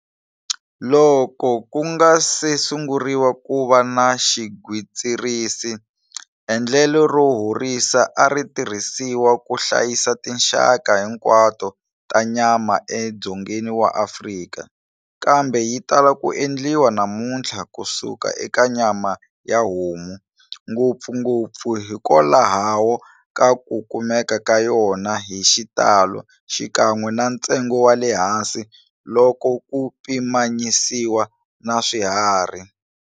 Loko ku nga si sunguriwa ku va na xigwitsirisi, endlelo ro horisa ari tirhisiwa ku hlayisa tinxaka hinkwato ta nyama e Dzongeni wa Afrika, kambe yitala ku endliwa namuntlha kusuka eka nyama ya homu, ngopfungopfu hikokwalaho ka ku kumeka ka yona hi xitalo xikan'we na ntsengo wale hansi loko ku pimanyisiwa na swiharhi.